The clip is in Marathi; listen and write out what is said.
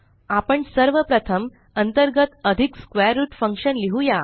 आपण सर्व प्रथम अंतर्गत अधिक स्क्वेर रूट फंक्शन लिहुया